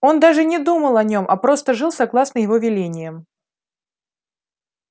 он даже не думал о нём а просто жил согласно его велениям